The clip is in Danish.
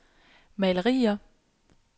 malerier